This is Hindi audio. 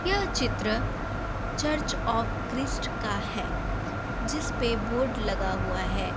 यह चित्र चर्च ऑफ क्रिश्ट का है। जिसपे बोर्ड लगा हुआ है।